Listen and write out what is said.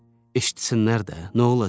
Eşitsinlər də, nə olacaq?